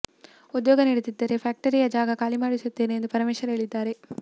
ಉದ್ಯೋಗ ನೀಡದಿದ್ದರೆ ಫ್ಯಾಕ್ಟರಿಯ ಜಾಗ ಖಾಲಿ ಮಾಡಿಸುತ್ತೇನೆ ಎಂದು ಪರಮೇಶ್ವರ್ ಹೇಳಿದ್ದಾರೆ